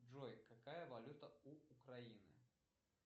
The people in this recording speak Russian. джой какая валюта у украины